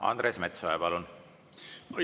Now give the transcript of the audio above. Andres Metsoja, palun!